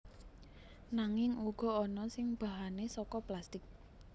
Nanging uga ana sing bahane saka plastik